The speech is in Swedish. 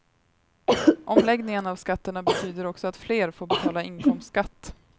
Omläggningen av skatterna betyder också att fler får betala inkomstskatt.